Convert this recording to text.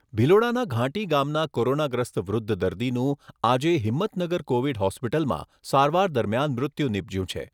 ભિલોડાના ઘાંટી ગામના કોરોનાગ્રસ્ત વૃધ્ધ દર્દીનું આજે હિંમતનગર કોવિડ હોસ્પીટલમાં સારવાર દરમિયાન મૃત્યુ નિપજ્યું છે.